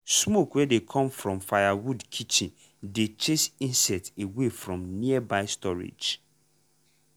smoke wey dey come from firewood kitchen dey chase insect away from nearby storage.